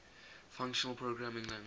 functional programming language